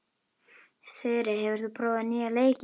Þyri, hefur þú prófað nýja leikinn?